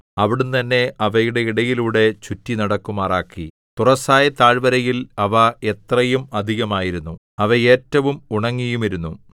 അവിടുന്ന് എന്നെ അവയുടെ ഇടയിലൂടെ ചുറ്റിനടക്കുമാറാക്കി തുറസ്സായ താഴ്വരയിൽ അവ എത്രയും അധികമായിരുന്നു അവ ഏറ്റവും ഉണങ്ങിയുമിരുന്നു